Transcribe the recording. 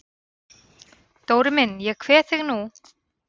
Dóri minn ég kveð þig nú.